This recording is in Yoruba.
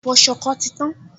Ẹ̀fọ́ ṣọkọ ti tán